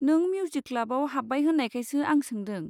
नों मिउजिक क्लाबाव हाब्बाय होन्नायखायसो आं सोंदों।